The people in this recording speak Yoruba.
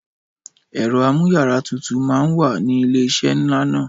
Ẹ̀ro amú yàrá tutù mà ń wà ni ilé iṣé ńláńlá